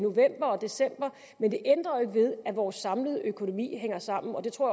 december men det ændrer jo ikke ved at vores samlede økonomi hænger sammen og det tror